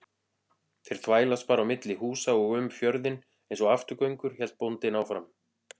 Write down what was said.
Þeir þvælast bara á milli húsa og um fjörðinn einsog afturgöngur, hélt bóndinn áfram.